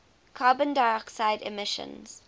carbon dioxide emissions